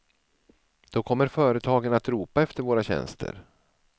Då kommer företagen att ropa efter våra tjänster.